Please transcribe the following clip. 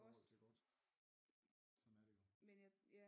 I forhold til godt sådan er det jo